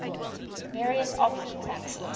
various option taxes